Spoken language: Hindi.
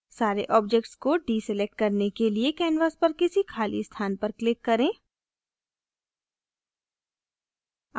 सारे objects को डीसलेक्ट करने के लिए canvas पर किसी खाली स्थान पर click करें